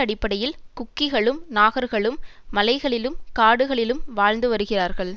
அடிப்படையில் குக்கிக்களும் நாகர்களும் மலைகளிலும் காடுகளிலும் வாழ்ந்து வருகிறார்கள்